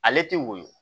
Ale tɛ woyo